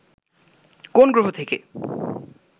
কোন গ্রহ থেকে